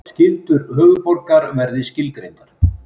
Skyldur höfuðborgar verði skilgreindar